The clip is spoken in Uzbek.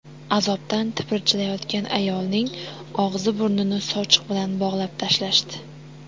Azobdan tipirchilayotgan ayolning og‘zi-burnini sochiq bilan bog‘lab tashlashdi.